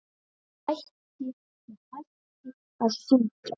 Ég hætti að syngja.